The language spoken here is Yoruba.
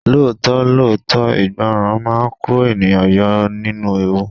Lóòótọ́ lóòótọ́, ìgbọràn máa ń kó ènìyàn yọ nínú ewu.